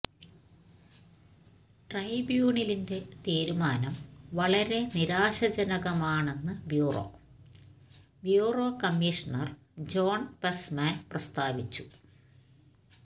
ട്രൈബ്യൂണലിന്റെ തീരുമാനം വളരെ നിരാശാജനകമാണെന്ന് ബ്യൂറോ ബ്യൂറോ കമ്മീഷണർ ജോൺ പെസ്മാൻ പ്രസ്താവിച്ചു